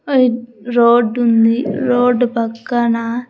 ఆ రోడ్ ఉంది రోడ్ పక్కన.